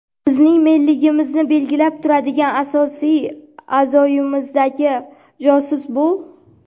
bizning "men"ligimizni belgilab turadigan asosiy a’zoyimizdagi josus bu.